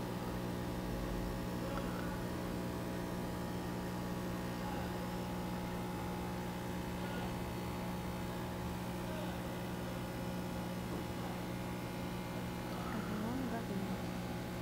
родион газманов